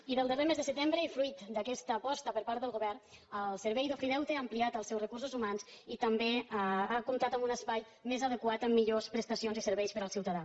i del darrer mes de setembre i fruit d’aquesta aposta per part del govern el servei d’ofideute ha ampliat els seus recursos humans i també ha comptat amb un espai més adequat amb millors prestacions i serveis per al ciutadà